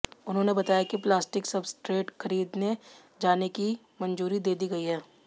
उन्होंने बताया कि प्लास्टिक सब्सट्रैट खरीदे जाने की मंजूरी दे दी गई है